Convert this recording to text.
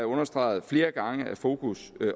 understreget at fokus